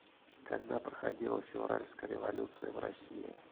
когда проходила февральская революция в россии